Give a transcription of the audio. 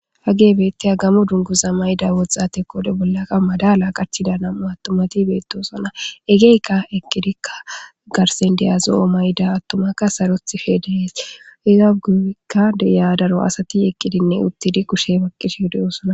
hage bette a gamo dunguza mayda woxxate kode bollaqa madala qachida nam7u attomati beettosona egeykka eqqidikka garsen deyazo7o mayda attomakka sarothife deees izaguekka de yaadaro asati eqqidinne uttidi kushe baqqishi deyoosona